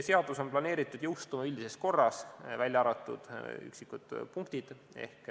Seadus on planeeritud jõustuma üldises korras, välja arvatud üksikud punktid.